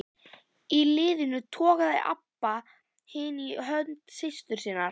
Í hliðinu togaði Abba hin í hönd systur sinnar.